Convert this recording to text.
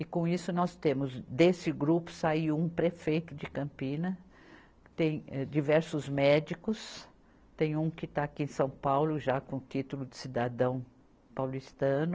E com isso nós temos, desse grupo saiu um prefeito de Campina, tem, eh, diversos médicos, tem um que está aqui em São Paulo já com título de cidadão paulistano,